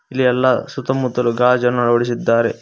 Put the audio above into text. ಇಲ್ಲಿ ಎಲ್ಲಾ ಸುತ್ತಮುತ್ತಲು ಗಾಜನ್ನು ಅಳವಡಿಸಿದ್ದಾರೆ.